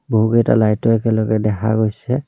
বহুকেইটা লাইটো একেলগে দেখা গৈছে।